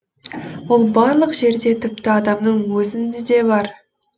ол барлық жерде тіпті адамның өзінде де бар